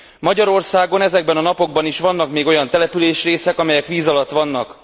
Magyarországon ezekben a napokban is vannak még olyan településrészek, amelyek víz alatt vannak.